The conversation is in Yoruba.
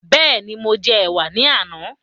Bẹ́ẹ̀ni, mo jẹ ẹ̀wà ní àná